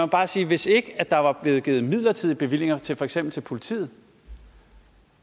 bare sige at hvis ikke der var blevet givet midlertidige bevillinger til for eksempel politiet